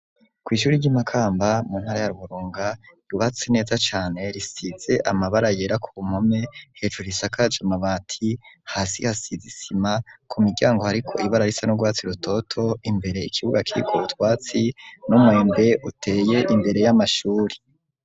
Kw'ishuri ry'i Makamba mu ntara ya Burunga, ryubatse neza cane, risize amabara yera ku mpome, hejuru risakaje amabati, hasi hasize isima, ku miryango hariko ibara risa n'urwatsi rutoto, imbere ikibuga kiriko utwatsi n'umwembe uteye imbere y'amashuri.